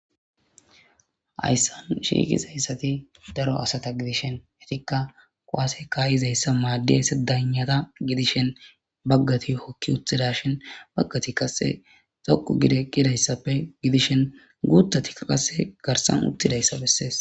hayssan shiiqizayssati daro asata gidishen etikka kuwase ka'izayssa maaddeyyse danata gidishen baggati hokki uttidashin baggati qasse toqu gidi eqidayssappe gidishen guuttatikka qasse garsan uttidayssa bessees